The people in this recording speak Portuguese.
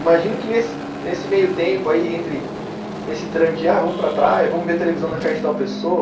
Imagino que nesse, nesse meio tempo aí, entre nesse trâmite, ah vamos para a praia, vamos ver televisão na casa de tal pessoa.